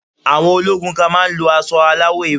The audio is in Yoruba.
Àwọn ológun kan má a ń lo asọ aláwọ̀ ewé